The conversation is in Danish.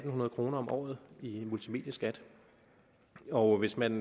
hundrede kroner om året i multimedieskat og hvis man